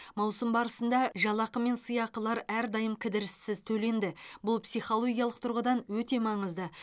маусым барысында жалақы мен сыйлықақылар әрдайым кідіріссіз төленді бұл психологиялық тұрғыдан өте маңызды